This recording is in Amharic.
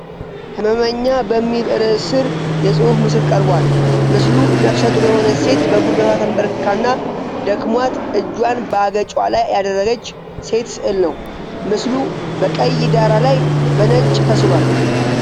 “ሕመመኛ” በሚል ርዕስ ስር የፅሁፍ ምስል ቀርቧል። ምስሉ ነፍሰ ጡር የሆነች ሴት በጉልበቷ ተንበርክካና ደክሟት እጇን በአገጯ ላይ ያደረገች ሴት ስዕል ነው። ምስሉ በቀይ ዳራ ላይ በነጭ ተስሏል።